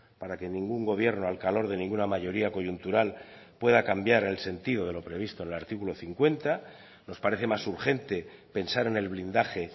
para que ningún gobierno al calor de ninguna mayoría coyuntural pueda cambiar el sentido de lo previsto en el artículo cincuenta nos parece más urgente pensar en el blindaje